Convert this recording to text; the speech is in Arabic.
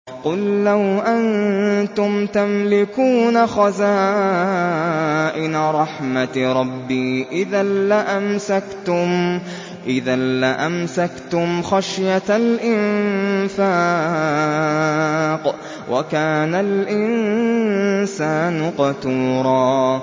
قُل لَّوْ أَنتُمْ تَمْلِكُونَ خَزَائِنَ رَحْمَةِ رَبِّي إِذًا لَّأَمْسَكْتُمْ خَشْيَةَ الْإِنفَاقِ ۚ وَكَانَ الْإِنسَانُ قَتُورًا